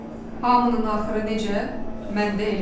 Hamının axırı necə, məndə elə.